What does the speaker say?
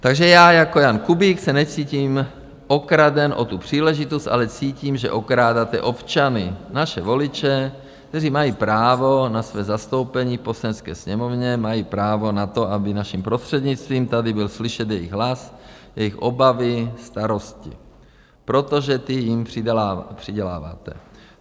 Takže já jako Jan Kubík se necítím okraden o tu příležitost, ale cítím, že okrádáte občany, naše voliče, kteří mají právo na své zastoupení v Poslanecké sněmovně, mají právo na to, aby naším prostřednictvím tady byl slyšet jejich hlas, jejich obavy, starosti, protože ty jim přiděláváte.